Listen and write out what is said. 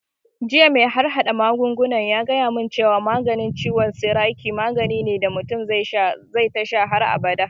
Jiya mai harhaɗa magunguna ya gaya mun cewa maganin ciwon sikari magani ne da mutum zai tasha har abada